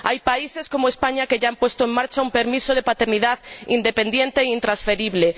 Hay países como España que ya han puesto en marcha un permiso de paternidad independiente e intransferible.